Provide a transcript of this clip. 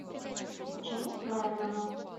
ученик мерлина